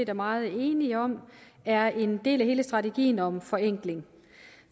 er meget enige om er en del af hele strategien om forenkling